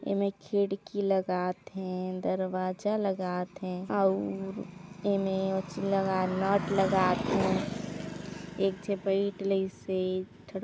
एमे खिड़की लगात हें दरवाजा लगात हें और एमे नोट लगात हें एक झ बईट लईसे थोरा-